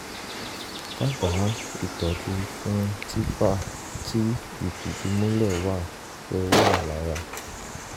dábàá ìtọ́jú fún tpha tíí ìfìdímúlẹ̀ wà pé ó wà lára